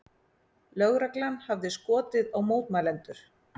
Lögreglan hafi skotið á mótmælendur